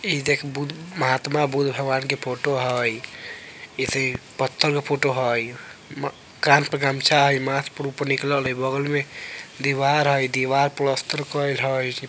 इ देख बुद्ध महात्मा बुद्ध भगवान के फ़ोटो हई इत्ते पत्थर के फोटो हई कान पर गमछा हई माथ पर ऊपर निकलल हई बगल में दीवार हई दीवार प्लस्तर कइल हई |